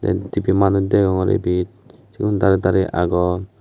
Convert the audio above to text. tipi manuch degongor obet siun dare dare agon.